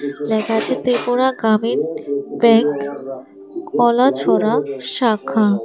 লেখা আছে ত্রিপুরা গ্রামীণ ব্যাংক কলাছড়া শাখা।